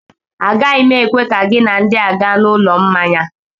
Agaghị m ekwe ka gị na ndị a gaa n'ụlọ mmanya